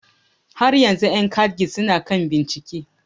Tukunna, yan KADGIS su na bincike har yanzu